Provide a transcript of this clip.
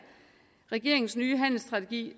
regeringens nye handelsstrategi